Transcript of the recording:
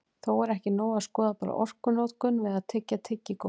Þó er ekki nóg að skoða bara orkunotkun við að tyggja tyggigúmmí.